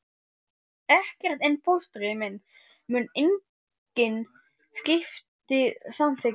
Ekkert, en fóstri minn mun engin skipti samþykkja.